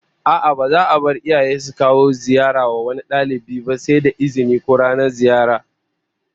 A'a, ba za'a bar iyaye su kawo ziyara wa wani dalibi ba sai da izini, ko ranar ziyara